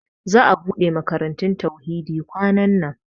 Za'a ɓuɗe makarantun Tauhidi kwanan nan.